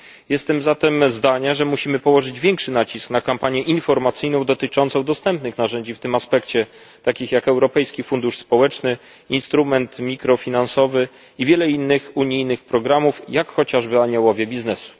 Jestem zatem zdania, że musimy położyć większy nacisk na kampanię informacyjną dotyczącą dostępnych narzędzi w tym aspekcie takich jak Europejski Fundusz Społeczny, instrument mikrofinansowy i wiele innych unijnych programów, takich jak chociażby Aniołowie biznesu.